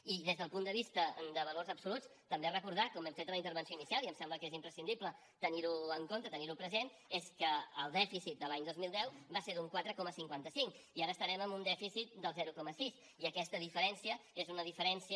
i des del punt de vista de valors absoluts també recordar com hem fet en la intervenció inicial i em sembla que és imprescindible tenir ho en compte tenir ho present que el dèficit de l’any dos mil deu va ser d’un quatre coma cinquanta cinc i ara estarem en un dèficit del zero coma sis i aquesta diferència és una diferència